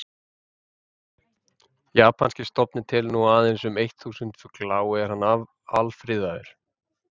Japanski stofninn telur nú aðeins um eitt þúsund fugla og er hann alfriðaður.